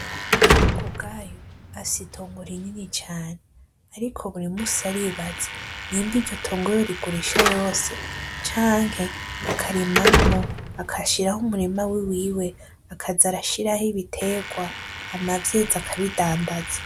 Ndihokubwayo afise itongo rinini cane ariko buri munsi aribaza nimba iryo tongo yorigurisha yose canke akarimamwo agashiraho umurima wiwiwe akaza arashiraho ibiterwa hama vyeze akabidandaza.